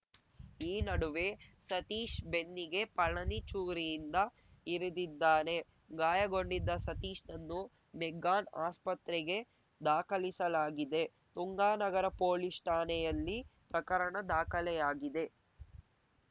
ಈ ನಡುವೆ ಸತೀಶ್‌ ಬೆನ್ನಿಗೆ ಪಳನಿ ಚೂರಿಯಿಂದ ಇರಿದಿದ್ದಾನೆ ಗಾಯಗೊಂಡಿದ್ದ ಸತೀಶ್‌ನನ್ನು ಮೆಗ್ಗಾನ್‌ ಆಸ್ಪತ್ರೆಗೆ ದಾಖಲಿಸಲಾಗಿದೆ ತುಂಗಾನಗರ ಪೊಲೀಸ್‌ ಠಾಣೆಯಲ್ಲಿ ಪ್ರಕರಣ ದಾಖಲೆಯಾಗಿದೆ